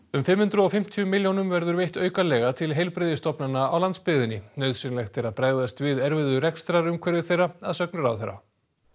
um fimm hundruð og fimmtíu milljónum verður veitt aukalega til heilbrigðisstofnana á landsbyggðinni nauðsynlegt er að bregðast við erfiðu rekstrarumhverfi þeirra að sögn ráðherra